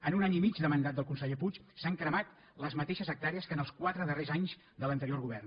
en un any i mig de mandat del conseller puig s’han cremat les mateixes hectàrees que en els quatre darrers anys de l’anterior govern